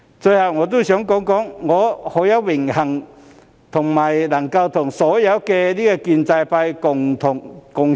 最後，我想說句，我很榮幸能夠和所有建制派議員共事。